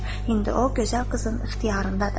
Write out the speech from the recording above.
“İndi o gözəl qızın ixtiyarındadır.”